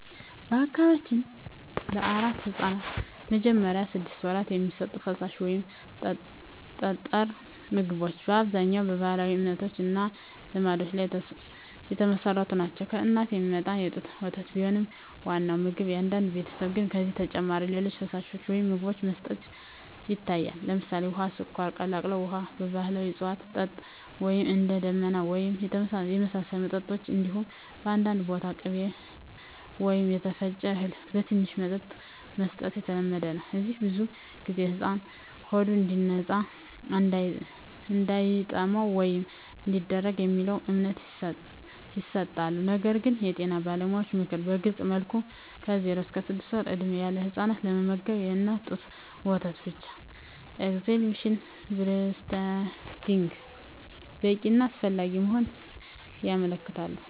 በአካባቢያችን ለአራስ ሕፃናት በመጀመሪያዎቹ ስድስት ወራት የሚሰጡ ፈሳሽ ወይም ጠጣር ምግቦች በአብዛኛው በባህላዊ እምነቶች እና ልማዶች ላይ የተመሠረቱ ናቸው። ከእናት የሚመጣ የጡት ወተት ቢሆንም ዋናው ምግብ፣ በአንዳንድ ቤተሰቦች ግን ከዚህ በተጨማሪ ሌሎች ፈሳሾች ወይም ምግቦች መስጠት ይታያል። ለምሳሌ፣ ውሃ፣ ስኳር የቀላቀለ ውሃ፣ የባህላዊ እፅዋት መጠጥ (እንደ “ደመና” ወይም የተመሳሳይ መጠጦች)፣ እንዲሁም በአንዳንድ ቦታ ቅቤ ወይም የተፈጨ እህል በትንሽ መጠን መስጠት የተለመደ ነው። እነዚህ ብዙ ጊዜ “ሕፃኑ ሆዱ እንዲነጻ”፣ “እንዳይጠማ” ወይም “እንዲያድግ” በሚለው እምነት ይሰጣሉ። ነገር ግን የጤና ባለሙያዎች ምክር በግልፅ መልኩ ከ0–6 ወር ዕድሜ ያለ ሕፃን ለመመገብ የእናት ጡት ወተት ብቻ (exclusive breastfeeding) በቂ እና አስፈላጊ መሆኑን ያመለክታሉ።